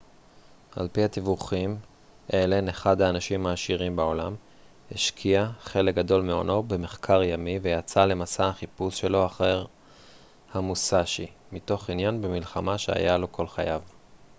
על פי הדיווחים אלן אחד האנשים העשירים בעולם השקיע חלק גדול מהונו במחקר ימי ויצא למסע החיפוש שלו אחר המוסאשי מתוך עניין במלחמה שהיה לו כל חייו